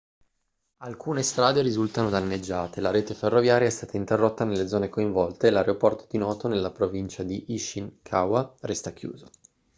alcune strade risultano danneggiate la rete ferroviaria è stata interrotta nelle zone coinvolte e l'aeroporto di noto nella provincia di ishikawa resta chiuso